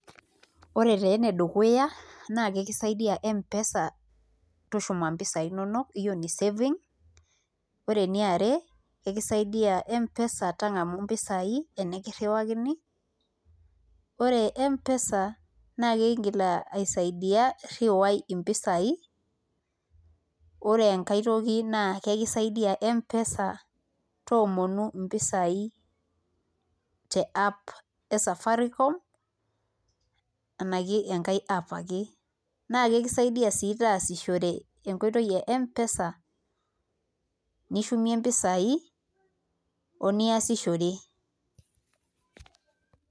Ore taa enedukuya naa kakisaidia Mpesa tushuma mpisaai inonok hiyo ni savings ore eniare kakisaidia Mpesa tang'amu mpisaai tenikirriwakini ore Mpesa naa kakiingil aisaidia rriwai mpisaai ore enkae toki naa kakisaidia Mpesa toomonu mpisaai te app e Safaricom arashu enkae app ake kisaidia sii taasishore enkoitoi e Mpesa nishumie mpisaai oniasishore.